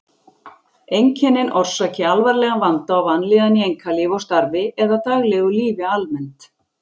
Einkennin orsaki alvarlegan vanda og vanlíðan í einkalífi og starfi eða daglegu lífi almennt.